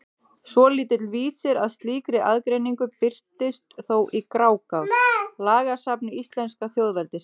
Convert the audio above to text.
Svolítill vísir að slíkri aðgreiningu birtist þó í Grágás, lagasafni íslenska þjóðveldisins.